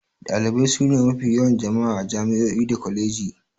Dalibai sune mafi yawan jama'a a jami'o'i da kwalejoji.